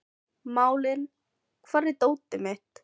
Malín, hvar er dótið mitt?